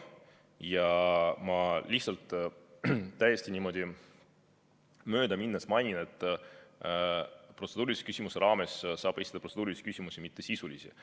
Ja ma lihtsalt täiesti niimoodi mööda minnes mainin, et protseduurilise küsimuse raames saab esitada protseduurilisi küsimusi, mitte sisulisi.